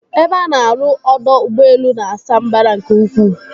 Ebe a na-arụ ọdọ ụgbọelu na-asa mbara nke ukwuu.